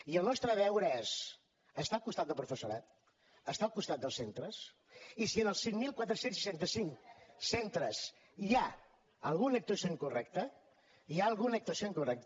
i el nostre deure és estar al costat del professorat estar el costat dels centres i si en els cinc mil quatre cents i seixanta cinc centres hi ha alguna actuació incorrecta hi ha alguna actuació incorrecta